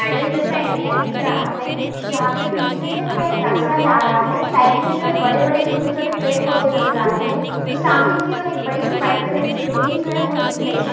Garden जैसा area दिख रहा हैं जहाँ पर बीच में से जो एक रास्ता जा रहा हैं साइड में जो हैं बड़े-बड़े छोटे-छोटे पेड़-पौधे नज़र आ रहे हैं और सामने की ओर एक बड़ी सी व्हाइट कलर की बिल्डिंग जो हैं वो दिख रही हैं।